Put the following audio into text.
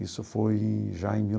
Isso foi já em mil